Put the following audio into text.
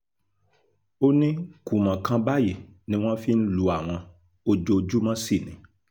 ó ní kùmọ̀ kan báyìí ni wọ́n fi ń lu àwọn ojoojúmọ́ sí ni